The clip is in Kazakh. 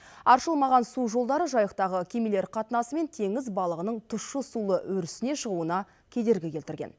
аршылмаған су жолдары жайықтағы кемелер қатынасы мен теңіз балығының тұщы сулы өрісіне шығуына кедергі келтірген